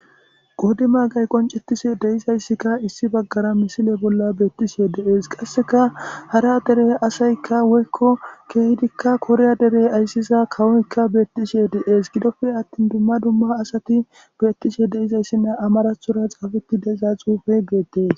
Qoodi maagay qonccetishe de7izayssi issi baggara misile bolla beetishe de7ees, qasseka hara dere asay woyko kehika koriya dere aysiya kawo derey beetishe de7ees, gidoppe attin keehi daro asati dizayssanne amaarathora xaafetida xuufey dizayssa besees.